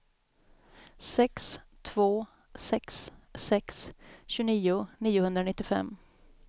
sex två sex sex tjugonio niohundranittiofem